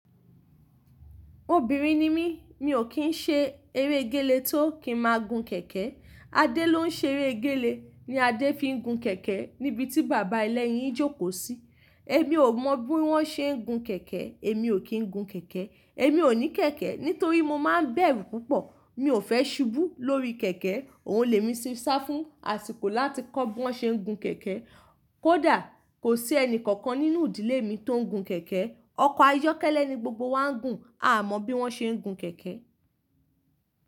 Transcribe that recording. Obìnrin ni mí, mi ò kí ń ṣe eré gẹ́le tó kí máa gun kẹ̀kẹ́. Adé ló ń ṣe eré gẹ́le, ni Adé fi ń gun kẹ̀kẹ́ níbi tí bàbá ẹlẹ́yin jókòó sí. Èmi ò mọ bí wọ́n ṣe ń gun kẹ̀kẹ́, èmi ò kí ń gun kẹ̀kẹ́, èmi ò ní kẹ̀kẹ́. Nítorí mo má ń bẹ̀rù púpọ̀, mi ò fẹ́ ṣubú lórí kẹ̀kẹ́. Òun lè mi ṣí sá fún àsìkò láti kọ́ bí wọ́n ṣe ń gun kẹ̀kẹ́. Kódà kò sí ẹni kankan nínú ìdílé mi tó ń gun kẹ̀kẹ́. Ọkọ̀ ayọ́kẹ́lẹ́ ni gbogbo wa ń gùn, a mọ bí wọ́n ṣe ń gun kẹ̀kẹ́.